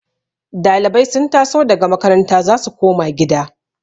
Dalibai sun taso daga makaranta za su koma gida